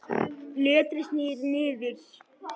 Letrið snýr niður.